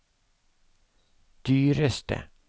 dyreste